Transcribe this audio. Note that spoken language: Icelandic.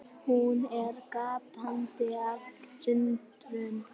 Hún er gapandi af undrun.